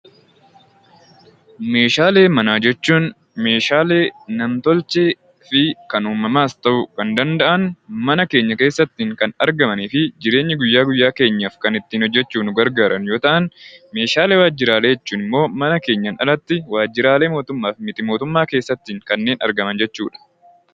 Meeshaalee manaa jechuun meeshaalee nam-tolchee kan uumamaas ta'uu kan danda'an mana keenya keessatti kan argamanii fi jireenya guyyaa guyyaa keenyaaf kan ittiin hojjachuudhaaf nu gargaaran yoo ta'an, meeshaalee waajjiraalee jechuun immoo mana keenyaan alatti waajjiraalee mootummaa fi miti mootummaa keessatti kanneen argaman jechuudha.